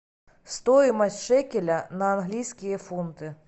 стоимость шекеля на английские фунты